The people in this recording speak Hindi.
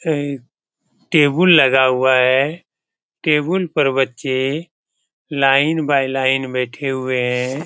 है टेबुल लगा हुआ है । टेबुल पर बच्चे लाइन बाई लाइन बैठे हुए है।